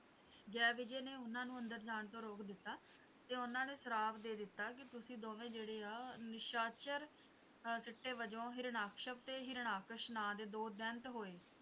ਜੈ ਵਿਜੈ ਨੇ ਉਨ੍ਹਾਂ ਨੂੰ ਅੰਦਰ ਜਾਂ ਤੋਂ ਰੋਕ ਦਿੱਤਾ ਤੇ ਉਨ੍ਹਾਂ ਨੇ ਸ਼ਰਾਪ ਦੇ ਦਿੱਤਾ ਕਿ ਤੁਸੀਂ ਦੋਵੇਂ ਜਿਹੜੇ ਹੈ ਨਿਸ਼ਾਚਰ ਸਿੱਟੇ ਵਜੋਂ ਹਿਰਨਾਕਸ਼ਪ ਹਰਨਾਕਸ਼ ਨਾਮ ਦੇ ਦੋ ਦੈਂਤ ਹੋਏ